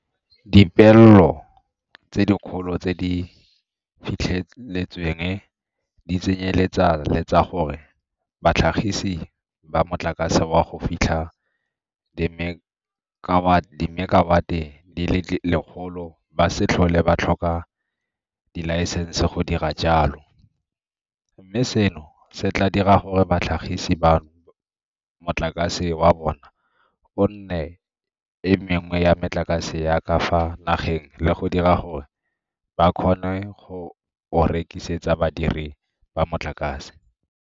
Dipeelo tse dikgolo tse di fitlheletsweng di tsenyeletsa le tsa gore batlhagisi ba motlakase wa go fitlha dimekawate di le lekgolo ba se tlhole ba tlhoka dilaesense go dira jalo, mme seno se tla dira gore batlhagisi bano motlakase wa bona o nne e mengwe ya metlakase ya ka fa nageng le go dira gore ba kgone go o rekisetsa badirise ba motlakase.